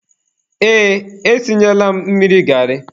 Ee, e sinyela m mmiri garị.